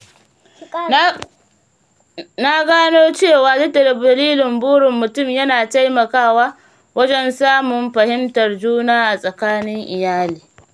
Na gano cewa jaddada dalilin burin mutum yana taimakawa wajen samun fahimtar juna a tsakanin iyali.